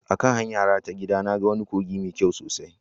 A kan hanyara ta gida, na ga wani kogi mai kyau sosai